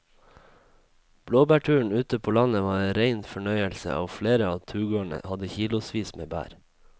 Blåbærturen ute på landet var en rein fornøyelse og flere av turgåerene hadde kilosvis med bær.